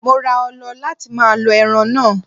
Mo ra ọlọ láti máa lọ ẹran náà.